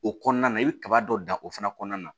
O kɔnɔna na i bɛ kaba dɔ dan o fana kɔnɔna na